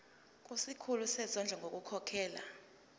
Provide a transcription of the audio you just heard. kusikhulu sezondlo ngokukhokhela